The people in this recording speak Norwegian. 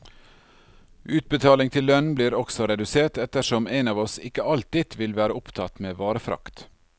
Utbetaling til lønn blir også redusert ettersom en av oss ikke alltid vil være opptatt med varefrakt.